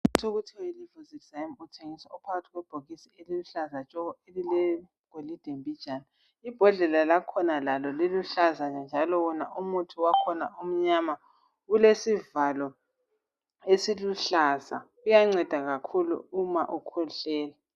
Umuthi okuthiwa yiLivocid zyme uthengiswa uphakathi kwebhokisi eliluhlaza tshoko elile golide mbijana. Ibhodlela lakhona lalo liluhlaza njalo wona umuthi wakhona umnyama kulesivalo esiluhlaza, uyanceda kakhulu uma ukhwehlela.